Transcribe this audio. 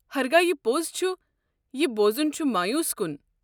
ہرگاہ یہِ پوٚز چھُ، یہِ بوزُن چھُ مویوٗس كُن۔